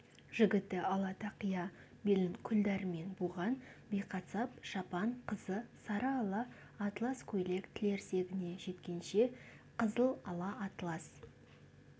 жігіті ала тақия белін күлдәрімен буған биқасап шапан қызы сары ала атлас көйлек тілерсегіне жеткенше қызыл ала атлас